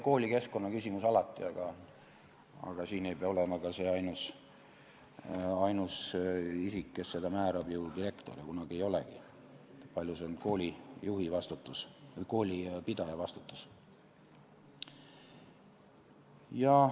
Koolikeskkonna küsimus on ka alati oluline, aga ainus isik, kes seda määrab, ei pea olema ju direktor, ta kunagi ei olegi seda, paljus on see koolipidaja vastutus.